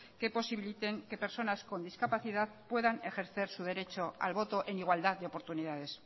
que posibiliten que personas con discapacidad puedan ejercer su derecho al voto en igualdad de oportunidades